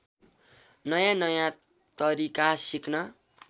नयाँनयाँ तरिका सिक्न